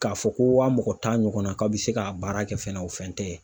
K'a fɔ ko wa mɔgɔ tan ɲɔgɔnna, k'aw bɛ se ka baara kɛ fɛnɛ o fɛn tɛ.